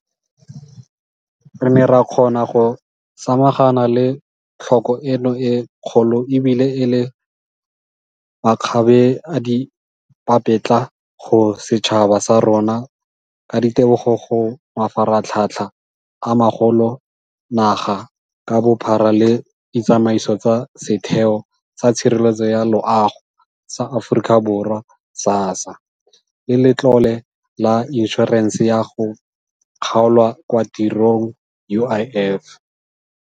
Re ne ra kgona go samagana le tlhoko eno e kgolo ebile e le makgabeadipapetla go setšhaba sa rona ka ditebogo go mafaratlhatlha a magolo naga ka bophara le ditsamaiso tsa Setheo sa Tshireletso ya Loago sa Aforika Borwa SASSA le Letlole la Inšorense ya go Kgaolwa kwa Tirong UIF.